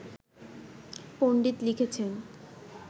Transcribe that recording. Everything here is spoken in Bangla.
পন্ডিত লিখেছেন